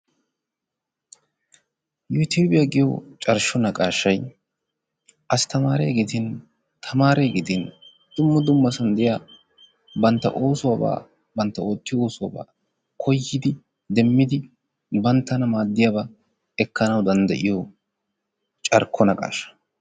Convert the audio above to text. Yutubbiya giyo carkko naqqashay astaariya gidin tamaariya gidin dumma dummasan de'iyaa bantta oosuwabba bantta oottiyo oosuwaba koyyidi demmidi banttana maaddiyaba danddayiyoo carkko naqashaa.